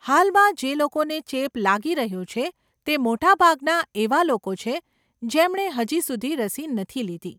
હાલમાં જે લોકોને ચેપ લાગી રહ્યો છે તે મોટાભાગના એવા લોકો છે જેમણે હજી સુધી રસી નથી લીધી.